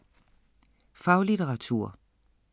Faglitteratur